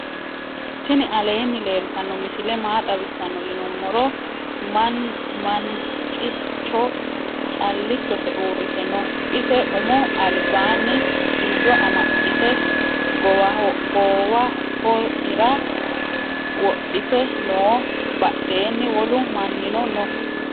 tini aleni leltano misile maa xawisano yinumoro. mancjo calichose uurite nno ise umo albanni xiyoo amaaxite gowahoira wodhiten noo badheeni wolu manino noo.